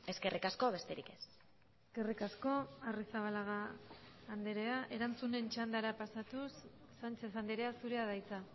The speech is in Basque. eskerrik asko besterik ez eskerrik asko arrizabalaga andrea erantzunen txandara pasatuz sánchez andrea zurea da hitza